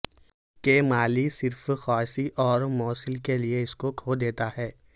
کہ مال صرف خواص غیر موصل کے لئے اس کو کھو دیتا ہے